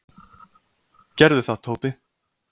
"""Gerðu það, Tóti."""